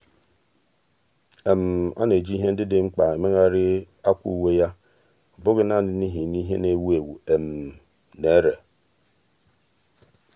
ọ́ na-eji ìhè ndị dị mkpa èmégharị akwà uwe yá ọ́ bụ́ghị́ nāànị́ n’íhì nà ìhè nà-èwú éwú nà-èré.